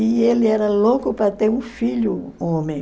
E ele era louco para ter um filho homem.